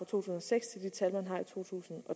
tusind og seks